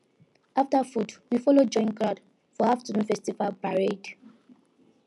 after food we follow join crowd for afternoon festival parade